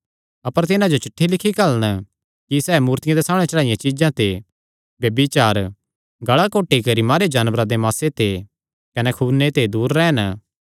अपर तिन्हां जो चिठ्ठी लिखी घल्लन कि सैह़ मूर्तियां दे सामणै चढ़ाईयां चीज्जां ते ब्यभिचार गल़ा घोटी करी मारेयो जानवरां दे मासे ते कने खूने ते दूर रैह़न